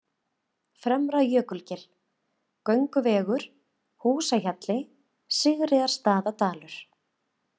Fremra-Jökulgil, Gönguvegur, Húsahjalli, Sigríðarstaðadalur